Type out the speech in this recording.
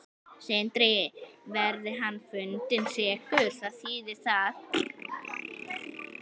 Sindri: Verði hann fundinn sekur, hvað þýðir það?